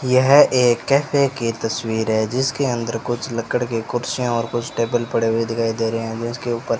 यह एक कैफे की तस्वीर है जिसके अंदर कुछ लक्कड़ के कुर्सियां और कुछ टेबल पड़े हुए दिखाई दे रहे हैं जीसके ऊपर --